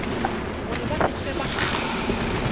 gore ba se hlwe ba